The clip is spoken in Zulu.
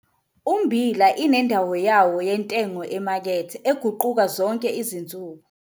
Ummbila inendawo yawo yentengo emakethe eguquka zonke izinsuku